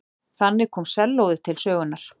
Þannig kom sellóið til sögunnar.